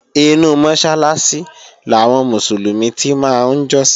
Inú Mọ́sálásí làwọn Mùsùlùmí ti máa ń jọ́sìn